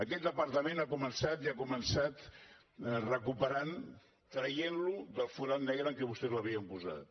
aquest departament ja ha començat i ha començat recuperant traient lo del forat negre en què vostès l’havien posat